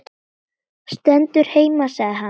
Stendur heima sagði hann.